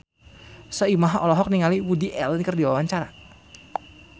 Soimah olohok ningali Woody Allen keur diwawancara